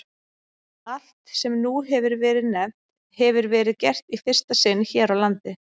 Allt, sem nú hefir verið nefnt, hefir verið gert í fyrsta sinn hér á landi.